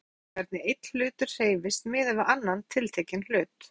Innbyrðis hreyfing er það hvernig einn hlutur hreyfist miðað við annan tiltekinn hlut.